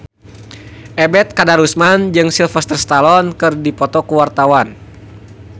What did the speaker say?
Ebet Kadarusman jeung Sylvester Stallone keur dipoto ku wartawan